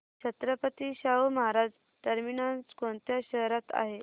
Chhatrapati Shahu Maharaj terminus कोणत्या शहरात आहे